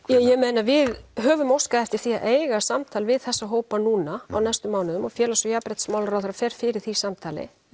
ég meina við höfum óskað eftir því að eiga samtal við þessa hópa núna á næstu mánuðum og félags og jafnréttismálaráðherra fer fyrir því samtali